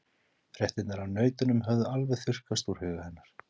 Fréttirnar af nautunum höfðu alveg þurrkast úr huga hennar.